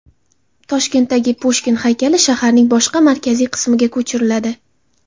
Toshkentdagi Pushkin haykali shaharning boshqa markaziy qismiga ko‘chiriladi.